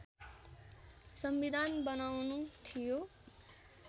संविधान बनाउनु थियो